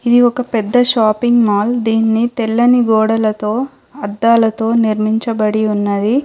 ఇది ఒక పెద్ద షాపింగ్ మాల్ దీన్ని తెల్లని గోడలతో అద్దాలతో నిర్మించబడి ఉన్నది.